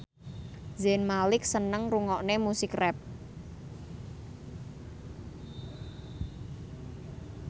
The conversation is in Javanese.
Zayn Malik seneng ngrungokne musik rap